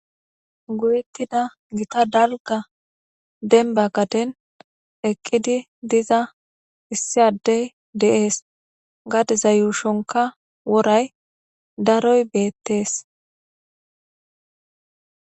Go'ethidda giththa denba gadden eqqidi dizza issi adde de'es gadde yushshonikka daroy bettes.